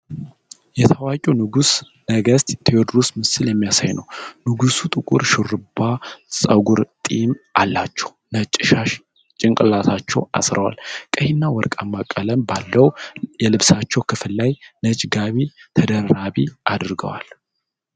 የታዋቂውን ንጉሠ ነገሥት ቴዎድሮስን ምስል የሚያሳይ ነው። ንጉሡ ጥቁር ሹርባ ፀጉርና ጢም አላቸው፤ ነጭ ሻሽ ጭንቅላታቸው አስረዋል። ቀይና ወርቃማ ቀለም ባለው የልብሳቸው ክፍል ላይ ነጭ ጋቢ ተደራቢ አድርገዋል።